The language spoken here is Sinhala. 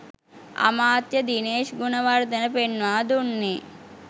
අමාත්‍ය දිනේෂ් ගුණවර්ධන පෙන්වා දුන්නේ